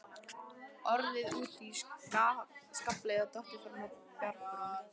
Orðið úti í skafli eða dottið fram af bjargbrún.